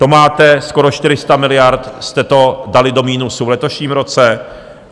To máte skoro 400 miliard, jste to dali do minusu v letošním roce.